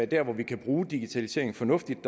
der hvor vi kan bruge digitaliseringen fornuftigt